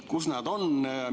Kus see on?